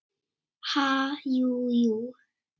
Ha, jú, jú